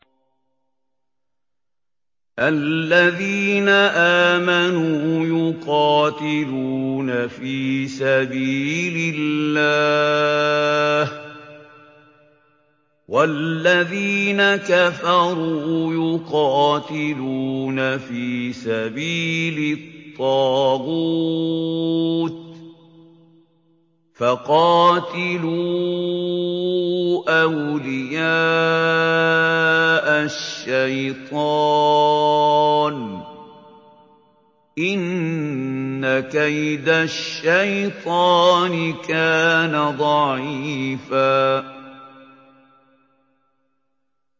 الَّذِينَ آمَنُوا يُقَاتِلُونَ فِي سَبِيلِ اللَّهِ ۖ وَالَّذِينَ كَفَرُوا يُقَاتِلُونَ فِي سَبِيلِ الطَّاغُوتِ فَقَاتِلُوا أَوْلِيَاءَ الشَّيْطَانِ ۖ إِنَّ كَيْدَ الشَّيْطَانِ كَانَ ضَعِيفًا